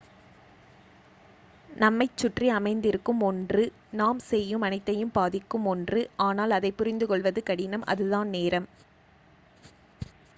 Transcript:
நம்மைச் சுற்றி அமைந்திருக்கும் ஒன்று நாம் செய்யும் அனைத்தையும் பாதிக்கும் ஒன்று ஆனால் அதைப் புரிந்துகொள்வது கடினம் அதுதான் நேரம்